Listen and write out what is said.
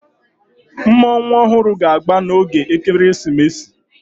Mmọnwụ ọhụrụ ga-agba n'oge ekeresimesi